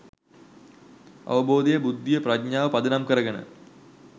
අවබෝධය, බුද්ධිය, ප්‍රඥාව පදනම් කරගෙන